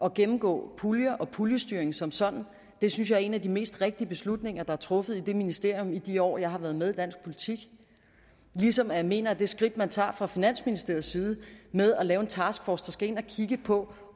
at gennemgå puljer og puljestyring som sådan det synes jeg er en af de mest rigtige beslutninger der er truffet i det ministerium i de år jeg har været med i dansk politik ligesom jeg mener at det skridt man tager fra finansministeriets side med at lave en taskforce der skal ind at kigge på